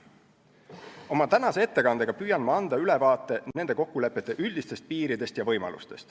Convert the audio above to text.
Oma tänase ettekandega püüan anda ülevaate nende kokkulepete üldistest piiridest ja võimalustest.